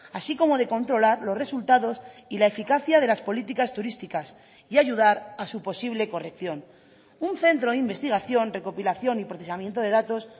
así como de controlar los resultados y la eficacia de las políticas turísticas y ayudar a su posible corrección un centro de investigación recopilación y procesamiento de datos